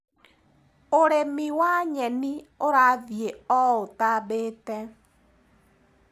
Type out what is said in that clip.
ũrĩmi wa nyeni ũrathi o ũtambĩte.